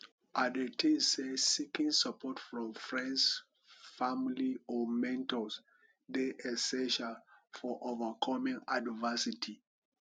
i dey think say seeking support from friends family or mentors dey essential for overcoming adversity